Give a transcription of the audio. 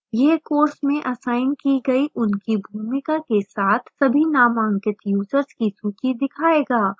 यह course में assign की गई उनकी भूमिका के साथ सभी नामांकित यूजर्स की सूची दिखाएगा